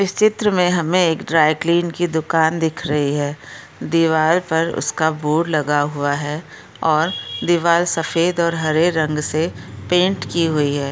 इस चित्र मे हमे एक ड्राय क्लीन की दुकान दिख रही है दीवार पर उस का बोर्ड लगा हुआ है और दीवार सफेद और हरे रंग से पेन्ट की हुई है।